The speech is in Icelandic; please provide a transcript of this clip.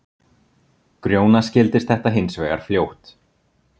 Grjóna skildist þetta hinsvegar fljótt.